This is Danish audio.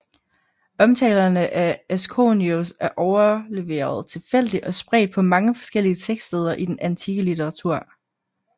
Omtalerne af Asconius er overleveret tilfældigt og spredt på mange forskellige tekststeder i den antikke litteratur